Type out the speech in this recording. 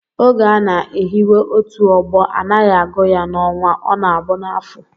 Oge a na-ehiwe otu ọgbọ, anaghị agụ ya n'ọnwa, ọ na-abụ n'afọ